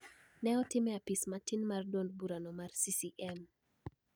Ne otim e apis matin mar duond burano mar CCM